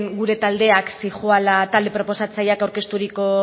gure taldeak zihoala talde proposatzaileak aurkezturiko